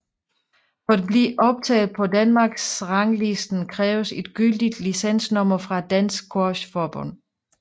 For at blive optaget på Danmarksranglisten kræves et gyldigt licensnummer fra Dansk Squash Forbund